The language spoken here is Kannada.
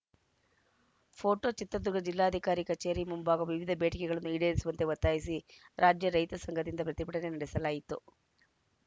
ಪೋಟೋ ಚಿತ್ರದುರ್ಗ ಜಿಲ್ಲಾಧಿಕಾರಿ ಕಚೇರಿ ಮುಂಭಾಗ ವಿವಿಧ ಬೇಡಿಕೆಗಳನ್ನು ಈಡೇರಿಸುವಂತೆ ಒತ್ತಾಯಿಸಿ ರಾಜ್ಯ ರೈತ ಸಂಘದಿಂದ ಪ್ರತಿಭಟನೆ ನಡೆಸಲಾಯಿತು